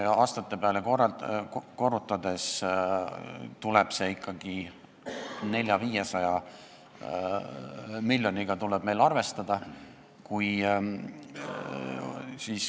Kui aastatega korrutada, siis tuleb meil arvestada 400–500 miljoniga.